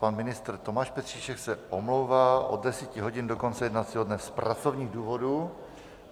Pan ministr Tomáš Petříček se omlouvá od 10 hodin do konce jednacího dne z pracovních důvodů.